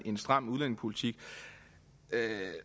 en stram udlændingepolitik